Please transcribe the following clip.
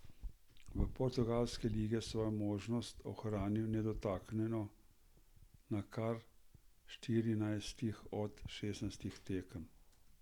V portugalski ligi je svojo mrežo ohranil nedotaknjeno na kar štirinajstih od šestnajstih tekem.